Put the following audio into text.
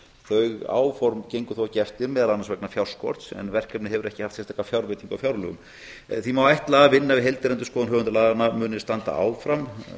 þau áform gengu þó ekki eftir meðal annars vegna fjárskorts en verkefnið hefur ekki haft sérstaka fjárveitingu á fjárlögum því má ætla að vinna við heildarendurskoðun höfundalaganna muni standa áfram um nokkurt